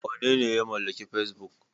Wanene ya mallaki Fesbuk?